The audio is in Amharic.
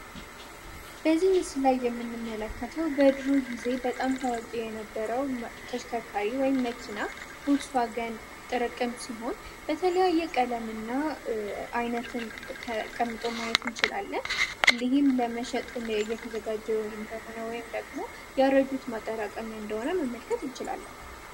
የምንመለከተው በድሩ ጊዜ በጣም ታዋቂ የነበረው ተሽከርካሪ ወይም መኪና ጥረቅም ሲሆን በተለያየ ቀለም እና አይነትን ተቀምጦ ማየት እንችላለን ለመሸጥ ነው እየተዘጋ እንደሆነ ወይም ደግሞ ያረጁት ማጠራቀሚያ እንደሆነ መመልከት እንችላለን